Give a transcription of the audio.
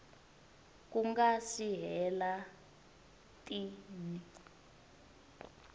ku nga si hela tin